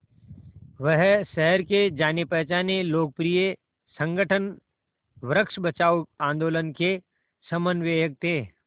वह शहर के जानेपहचाने लोकप्रिय संगठन वृक्ष बचाओ आंदोलन के समन्वयक थे